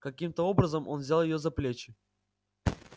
каким-то образом он взял её за плечи